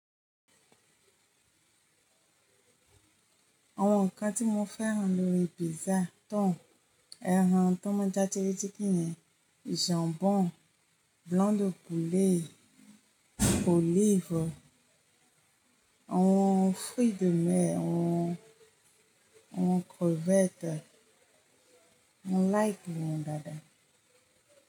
Àwọn ǹkan tí mo fẹ́ rán lórí pizza tán, ẹran tó máa dátí létí kíní, jambon, blanc de poulet, olives, àwọn fruits de mer, àwọn, àwọn crevettes, mo like wọ́n dáadáa.